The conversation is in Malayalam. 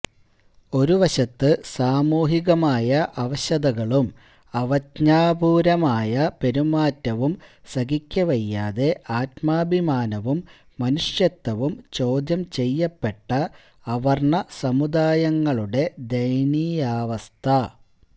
ഒരുവശത്ത് സാമൂഹികമായ അവശതകളും അവജ്ഞാപൂര്വമായ പെരുമാറ്റവും സഹിക്കവയ്യാതെ ആത്മാഭിമാനവും മനുഷ്യത്വവും ചോദ്യംചെയ്യപ്പെട്ട അവര്ണ സമുദായങ്ങളുടെ ദയനീയാവസ്ഥ